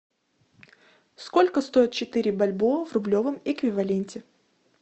сколько стоит четыре бальбоа в рублевом эквиваленте